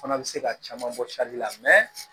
Fana bɛ se ka caman bɔ la